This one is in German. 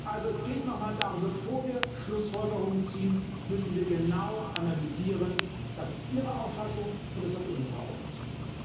Also, es geht noch mal darum Bevor wir Schlussfolgerungen ziehen, müssen wir genau analysieren das ist Ihre Auffassung, und das ist auch unsere Auffassung.